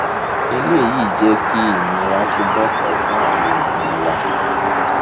eléyìí jẹ kí ìnira túbọ pọ fún àwọn èèyàn wa